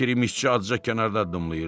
Kirişçi azca kənarda dinləyirdi.